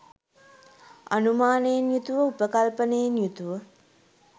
අනුමානයෙන් යුතුව, උපකල්පනයෙන් යුතුව